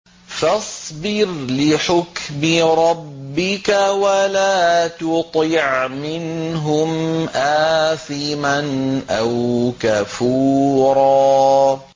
فَاصْبِرْ لِحُكْمِ رَبِّكَ وَلَا تُطِعْ مِنْهُمْ آثِمًا أَوْ كَفُورًا